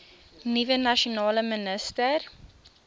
nuwe nasionale minister